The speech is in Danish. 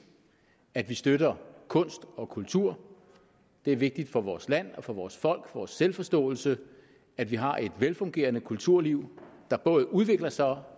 at vi støtter kunst og kultur det er vigtigt for vores land og for vores for vores selvforståelse at vi har et velfungerende kulturliv der både udvikler sig og